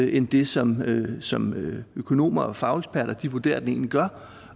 end det som som økonomer og fageksperter vurderer at den egentlig gør